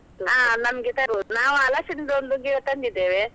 ಹಾ ನಮ್ಗೆ ತರ್ಬೋದು, ನಾವು ಹಲಸಿನದ ಒಂದು ಗಿಡ ತಂದಿದೇವೆ.